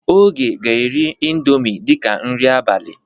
Oge ga-eri indọmii dịka nri abalị.